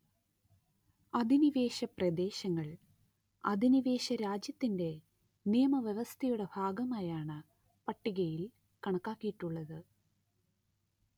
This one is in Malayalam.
അധിനിവേശപ്രദേശങ്ങൾ അധിനിവേശരാജ്യത്തിന്റെ നിയമവ്യവസ്ഥയുടെ ഭാഗമായാണ് പട്ടികയിൽ കണക്കാക്കിയിട്ടുള്ളത്